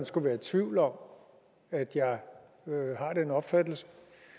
skulle være i tvivl om at jeg har den opfattelse